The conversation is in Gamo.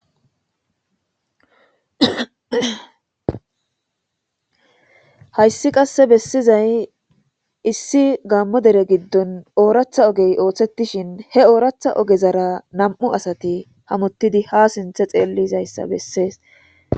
hayssi qasse bessizay issi gammo dere giddon ooratha ogey ooththetishin he ooratha ogezara nam7u asati hamottidi ha sinthe xeellizayssa bessees